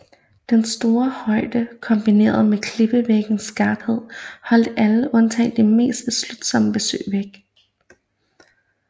Denne store højde kombineret med klippevæggenes skarphed holdt alle undtagen de mest beslutsomme besøgende væk